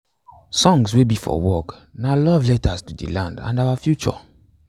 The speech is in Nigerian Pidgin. songs wey be for work na love letters to de land and our future